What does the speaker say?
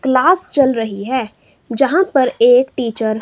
class चल रही है यहां पर एक टीचर --